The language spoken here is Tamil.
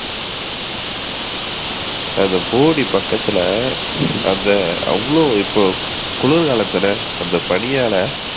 அந்த போடி பக்கத்துல அங்க அவளோ இப்போ குளிர்காலத்துல அந்த பணியால